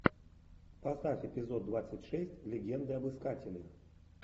поставь эпизод двадцать шесть легенды об искателе